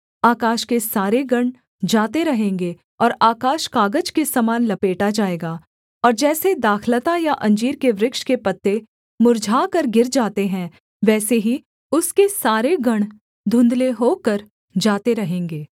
आकाश के सारे गण जाते रहेंगे और आकाश कागज के समान लपेटा जाएगा और जैसे दाखलता या अंजीर के वृक्ष के पत्ते मुर्झाकर गिर जाते हैं वैसे ही उसके सारे गण धुँधले होकर जाते रहेंगे